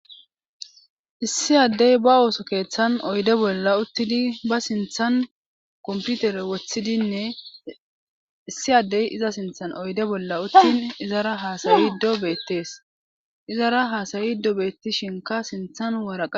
issi addey ba ooso keeththan oyde bolla uttidi ba sinthan komputere woththidinne issi addey iza sinthan oyde bolla uttidin izara haasayido beettees izara hasawido beettishinka sinthan waraqa